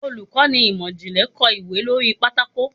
Olukọni imọ-jinlẹ kọ ìwé lori pàtàkó